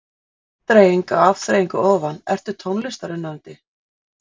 Afþreying á afþreyingu ofan Ertu tónlistarunnandi?